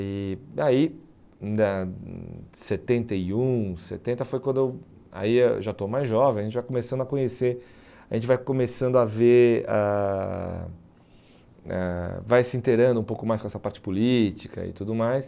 E aí, ainda em setenta e um, setenta, foi quando eu... Aí eu já estou mais jovem, aí já começando a conhecer, a gente vai começando a ver ãh ãh, vai se inteirando um pouco mais com essa parte política e tudo mais.